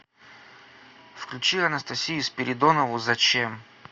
включи анастасию спиридонову зачем